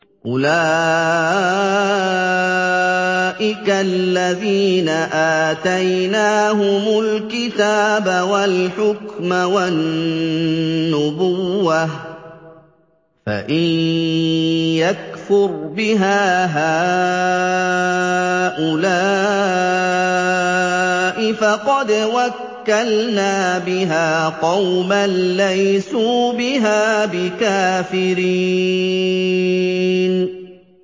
أُولَٰئِكَ الَّذِينَ آتَيْنَاهُمُ الْكِتَابَ وَالْحُكْمَ وَالنُّبُوَّةَ ۚ فَإِن يَكْفُرْ بِهَا هَٰؤُلَاءِ فَقَدْ وَكَّلْنَا بِهَا قَوْمًا لَّيْسُوا بِهَا بِكَافِرِينَ